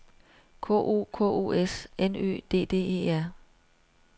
K O K O S N Ø D D E R